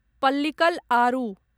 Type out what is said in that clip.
पल्लीकल आरु